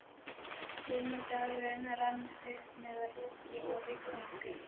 Sunnudagurinn rann upp með roki og rigningu.